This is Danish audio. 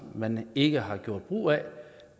man ikke har gjort brug af og